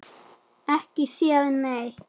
Ekki séð neitt.